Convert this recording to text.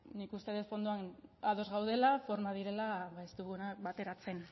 nik uste dut fondoan ados gaudela formak direla ez ditugunak bateratzen